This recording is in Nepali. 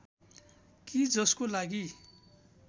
कि जसको लागि